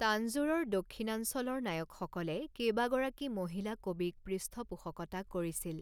তাঞ্জোৰৰ দক্ষিণাঞ্চলৰ নায়কসকলে কেইবাগৰাকী মহিলা কবিক পৃষ্ঠপোষকতা কৰিছিল।